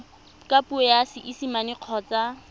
ka puo ya seesimane kgotsa